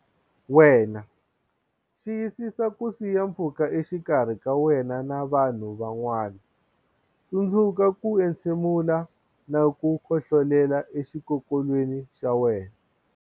wena Xiyisisa ku siya pfhuka exikarhi ka wena na vanhu van'wana Tsundzuka ku entshe mula na ku khohlolela exikokolweni xa wena